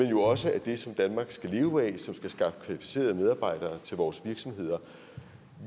jo også er det som danmark skal leve af som skal skaffe kvalificerede medarbejdere til vores virksomheder